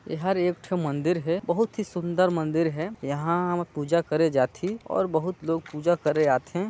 एहर एक ठो मन्दिर हे बहुत ही सुन्दर मन्दिर है यहाँ हुमा पूजा करें जाथीऔर बहुत लोग पूजा करे आथे।